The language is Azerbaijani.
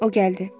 O gəldi.